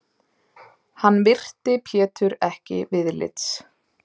Hann virti Pétur ekki viðlits.